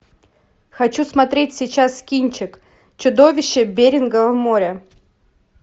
хочу смотреть сейчас кинчик чудовище берингова моря